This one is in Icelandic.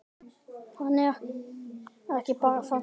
Hann var ekki bara þarna.